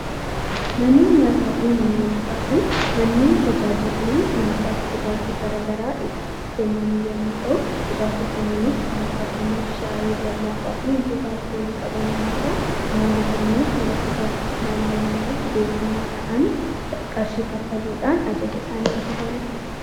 Manneen nyaataa fi manneen dhugaatii manneen tajaajilli nyaataa fi dhugaatii garaagaraa itti kennamu yoo ta'u dhugaatiiwwan kunneenis kan akka buna, shaayii, lallaafaa fi wantoota alkoolii qaban yommuu ta'u, nyaanni kunneenis nyaatota naannoo naannootti beekamaa ta'an qarshii kaffaluun ajajatanii nyaatanidha.